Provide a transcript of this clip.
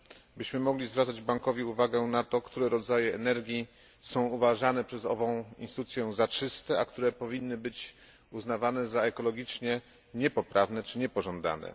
byśmy mogli zwracać Bankowi uwagę na to, które rodzaje energii są uważane przez ową instytucję za czyste, a które powinny być uznawane za ekologicznie niepoprawne czy niepożądane.